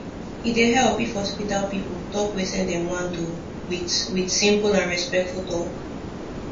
e dey help if hospital people talk wetin dem wan do with with simple and respectful talk